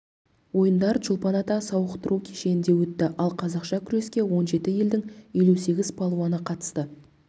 ойындар чолпон-ата сауықтыру кешенде өтті ал қазақша күрексе он жеті елдің елу сегіз палуаны қатысты